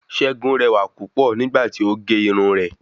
Segun rẹwà púpọ̀ nígbà tí o gé irun rè